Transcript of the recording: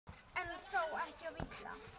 En þó ekki of illa.